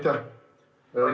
Aitäh!